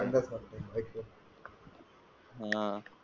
हा फिरतो बाइक वर, हा.